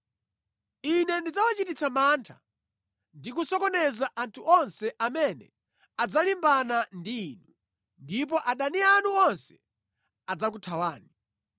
“Ine ndidzawachititsa mantha ndi kusokoneza anthu onse amene adzalimbana ndi inu ndipo adani anu onse adzakuthawani.